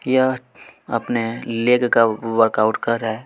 यह अपने लेटकर वर्कआउट कर रहा है।